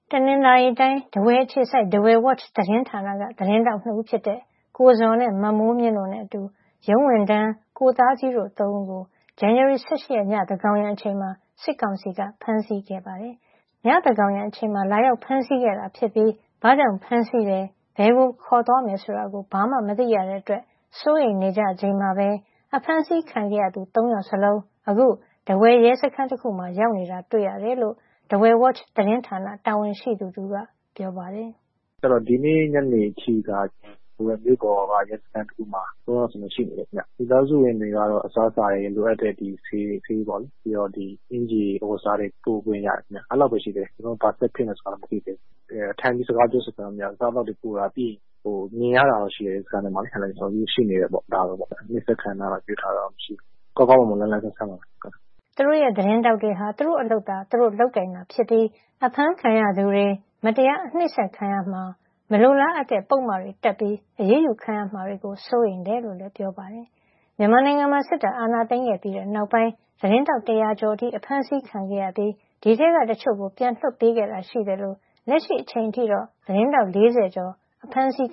တနင်္သာရီတိုင်း၊ ထားဝယ်အခြေစိုက် Dawei Watch သတင်းဌာနက သတင်းထောက်နှစ်ဦး ဖြစ်တဲ့ ကိုဇော်နဲ့ မမိုးမြင့် တို့နဲ့အတူ ရုံးဝန်ထမ်း ကိုသားကြီးတို့ ၃ ဦးကို ဇန်နဝါရီလ ၁၈ ရက်နေ့ ည သန်းကောင်ယံအချိန်မှာ စစ်ကောင်စီက ဖမ်းဆီးသွား ခဲ့ပါတယ်။ ညသန်းကောင်ယံမှာ လာရောက်ဖမ်းဆီးခဲ့တာဖြစ်ပြီး ဘာကြောင့်ဖမ်းဆီးတယ်၊ ဘယ်ကို ခေါ်သွားမယ်ဆိုတာ ဘာမှမသိရတဲ့အတွက် စိုးရိမ်နေကြချိန်မှာပဲအဖမ်းဆီးခံခဲ့ရသူ ၃ ယောက်စလုံး အခု ထားဝယ်ရဲစခန်းတခုမှာ ရောက်နေတာ တွေ့ရတယ်လို့Dawei Watch သတင်းဌာန တာဝန်ရှိသူတဦးက ပြောပါတယ်။ “ ဒီနေ့ ညနေအထိက ထားဝယ်မြို့ပေါ်က ရဲစခန်းတခုမှာ သုံးယောက်စလုံးရှိနေတယ်ခင်ဗျာ၊ မိသားစုဝင်တွေကတော့ အစားအစာတွေ လိုအပ်တဲ့ဆေး အင်္ကျ ီအဝတ်အစားတွေ ပို့ခွင့်ရတယ်ဗျာ၊ အဲလောက်ပဲ အဲလောက်ရှိသေးတယ်။ ကျနော်တို့ ဘာဆက်ဖြစ်မယ်ဆိုတာတော့ မသိသေးဘူး၊ ထိုင်ပြီးစကားပြောခွင့်တော့ မရဘူး ။ အစားအသောက်တွေပို့တာ ပြီးရင် မြင်ရတာတော့ ရှိတယ်။ အခန်းထဲမှာ ရှိနေတယ်။ အရိုက်ခံထားရတာတော့မရှိဘူး။ ကောင်းကောင်းမွန်မွန် လန်းလန်းဆန်းဆန်းပါပဲ။” သူတို့ရဲ့ သတင်းထောက်တွေဟာ သူတို့အလုပ်သာ သူတို့လုပ်ကိုင်နေတာဖြစ်ပြီး အဖမ်းခံရသူတွေ မတရား အနှိပ်စက်ခံရမှာ မလိုလားအပ်တဲ့ ပုဒ်မတွေတပ်ပြီး အရေးယူခံရမှာတွေကို စိုးရိမ်တယ်လို့လည်း ပြောပါတယ်။ မြန်မာနိုင်ငံမှာ စစ်တပ်က အာဏာသိမ်းပြီးနောက်ပိုင်း သတင်းထောက် ၁၀၀ကျော်အထိ ဖမ်းဆီးခံခဲ့ရပြီး အဲဒီထဲကတချို့ကို ပြန်လွတ်ပေးခဲ့တာရှိသလို ၊ လက်ရှိအချိန်ထိတော့ သတင်းထောက် ၄၀ကျော် ဖမ်းဆီး